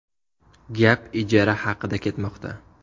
Gap ijara haqida ketmoqda.